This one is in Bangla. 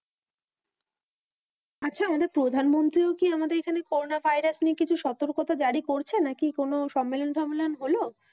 আচ্ছা আমাদের প্রধানমন্ত্রীও কি আমাদের এখানে করোনা ভাইরাস নিয়ে কিছু সতর্কতা জারি করছে নাকি কোন সম্মেলন টম্মেলন হলো?